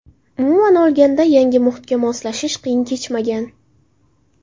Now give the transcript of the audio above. Umuman olganda, yangi muhitga moslashish qiyin kechmagan.